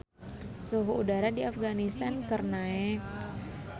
Suhu udara di Afganistan keur naek